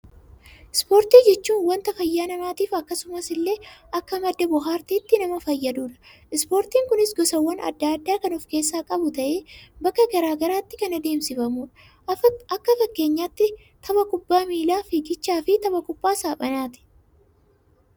Ispoortii jechuun wanta fayyaa namaatiif akkasumas illee akka madda bohaartiitti nama fayyadudha. Ispoortiin kunis gosaawwan addaa addaa kan of keessaa qabu ta'ee bakka garaagaraatti kan adeemsifamudha. Akka fakkeenyaatti tapha kubbaa miilaa, fiigicha fi tapha kubbaa saaphanaati.